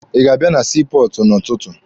Ị ga-abịa na sii pọọtụ n'ụtụtụ?